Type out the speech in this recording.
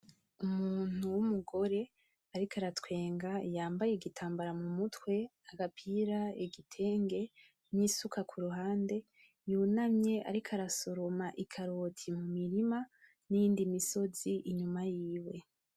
Umuntu w'umugore, ariko aratwenga yambaye igitambara mumutwe ; agapira ; igitenge n'isuka kuruhande, yunamye ariko arasoroma ikaroti mumirima niyindi misozi inyuma yiwe.